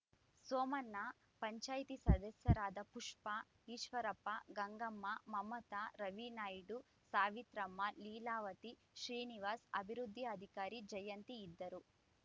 ಸೋಮಣ್ಣ ಪಂಚಾಯಿತಿ ಸದಸ್ಯರಾದ ಪುಷ್ಪಾ ಈಶ್ವರಪ್ಪ ಗಂಗಮ್ಮ ಮಮತ ರವಿನಾಯ್ಡು ಸಾವಿತ್ರಮ್ಮ ಲೀಲಾವತಿ ಶ್ರೀನಿವಾಸ್‌ ಅಭಿವೃದ್ಧಿ ಅಧಿಕಾರಿ ಜಯಂತಿ ಇದ್ದರು